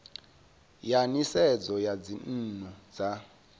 ya nisedzo ya dzinnu dza